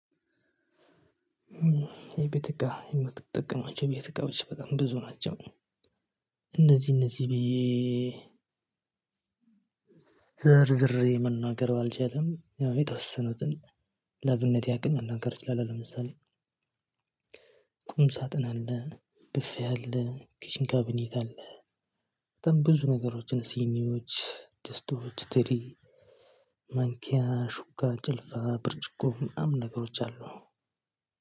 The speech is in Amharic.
የቤት እቃ የምትጠቀማቸው የቤት እቃዎች በጣም ብዙ ናቸው። እነዚህ እነዚህ ብዬ ዘርዝሬ መናገር ባልችልም ያው የተወሰኑትን ለአብነት ያክል መናገር እችላለሁ። ለምሳሌ። ቁም ሳጥን አለ ብፍ አለ ኪችን ካብኔት አለ። በጣም ብዙ ነገሮችን ሲኒዎች ድስቶች ትሪ ማንኪያ ሹካ ጭልፋ ብርጭቆ ምናምን ነገሮች አሉ።